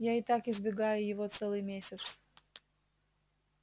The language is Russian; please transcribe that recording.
я и так избегаю его целый месяц